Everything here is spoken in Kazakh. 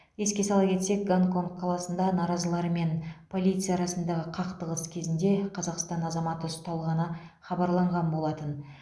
еске сала кетсек гонконг қаласында наразылар мен полиция арасындағы қақтығыс кезінде қазақстан азаматы ұсталғаны хабарланған болатын